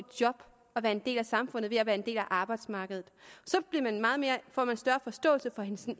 job og være en del af samfundet ved at være en del af arbejdsmarkedet så får man større forståelse for